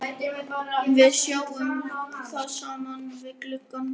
Við sjáum það saman við gluggann.